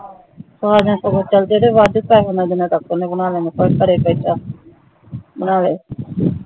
ਸਾਜਨ ਨੂੰ ਚੱਲ ਜਿੰਦੇ ਵੱਧ ਪੈਸੇ ਮਿਲਦੇ ਨੇ ਓਹਨੇ ਬਣਾ ਲੈਣੇ ਨੇ ਘਰੇ ਬੈਠਾ ਬਣਾਵੇ